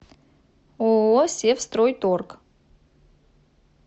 ооо севстройторг